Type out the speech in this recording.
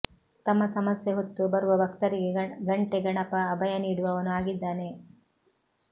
ತಮ್ಮ ಸಮಸ್ಯೆ ಹೊತ್ತು ಬರುವ ಭಕ್ತರಿಗೆ ಘಂಟೆ ಗಣಪ ಅಭಯ ನೀಡುವವನು ಆಗಿದ್ದಾನೆ